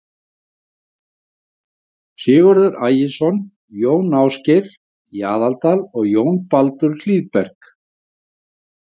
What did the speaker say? Sigurður Ægisson, Jón Ásgeir í Aðaldal og Jón Baldur Hlíðberg.